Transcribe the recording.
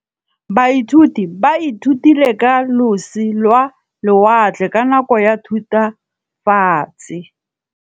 Baithuti ba ithutile ka losi lwa lewatle ka nako ya Thutafatshe.